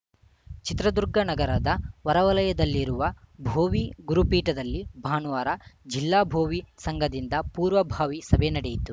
ಚಿತ್ರದುರ್ಗ ನಗರದ ಹೊರವಲಯದಲ್ಲಿರುವ ಭೋವಿ ಗುರುಪೀಠದಲ್ಲಿ ಭಾನುವಾರು ಜಿಲ್ಲಾ ಭೋವಿ ಸಂಘದಿಂದ ಪೂರ್ವಭಾವಿ ಸಭೆ ನಡೆಯಿತು